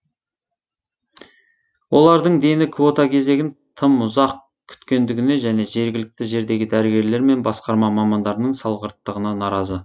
олардың дені квота кезегін тым ұзақ күтетіндігіне және жергілікті жердегі дәрігерлер мен басқарма мамандарының салғырттығына наразы